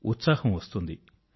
ఉత్సాహం వస్తుంది